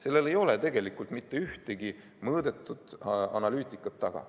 Selle taga ei ole tegelikult mitte ühtegi mõõdetud analüüsi.